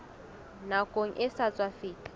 nakong e sa tswa feta